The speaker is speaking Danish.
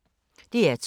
DR2